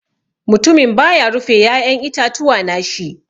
Mutumin ba ya rufe ya'yan itatuwa na shi.